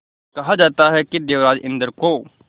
कहा जाता है कि देवराज इंद्र को